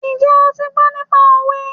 Njẹ́ o ti gbọ́ nípa òwe?